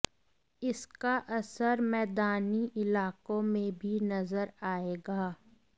इसका असर मैदानी इलाकों में भी नजर आएगा